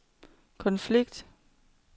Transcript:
konflikt